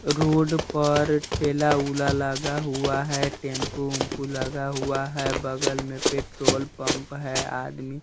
road पर ठेला-उला लगा हुआ है टेंपू-ऊंपू लगा हुआ है बगल में पेट्रोल पंप है आदमी --